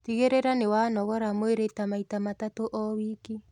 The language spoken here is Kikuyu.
Tigagiririra niwa nogoroa mwĩrĩ ta maĩ ta matatu o wiki